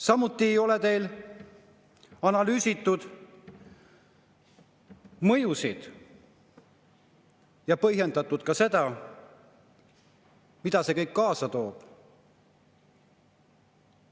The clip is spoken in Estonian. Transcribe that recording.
Samuti ei ole teil analüüsitud mõjusid ega põhjendatud ka seda, mida see kõik kaasa toob.